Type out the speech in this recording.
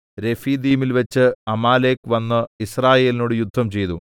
രെഫീദീമിൽവെച്ച് Amalek വന്ന് യിസ്രായേലിനോട് യുദ്ധംചെയ്തു